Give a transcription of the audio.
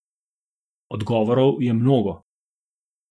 Odgovorov je mnogo.